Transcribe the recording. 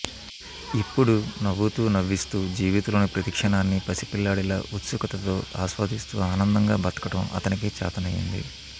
ఎప్పుడూ నవ్వుతూ నవ్విస్తూ జీవితంలోని ప్రతి క్షణాన్ని పసిపిల్లాడిలా ఉత్సుకతతో ఆస్వాదిస్తూ ఆనందంగా బతకటం అతనికే చాతనయింది